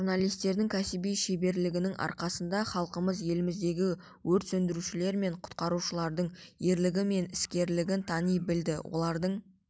журналистердің кәсіби шеберлігінің арқасында халқымыз еліміздегі өрт сөндірушілер мен құтқарушылардың ерлігі мен іскерлігін тани білді олардың